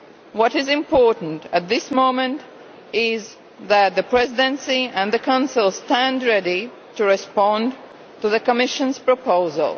What is important at this moment is that the Presidency and the Council stand ready to respond to the Commission's proposal.